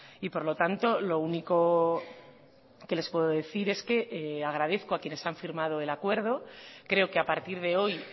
y por lo tanto lo único que les puedo decir es que agradezco a quienes han firmado el acuerdo creo que a partir de hoy